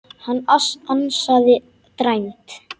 Hann ansaði dræmt.